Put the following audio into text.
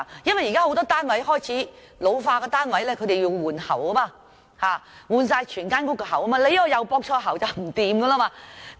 現時有很多單位開始老化，需要全屋更換水喉，如果駁錯喉管，情況便會很嚴重。